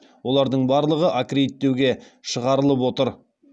олардың барлығы аккредиттеуге шығарылып отыр